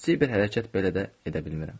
Kiçik bir hərəkət belə də edə bilmirəm.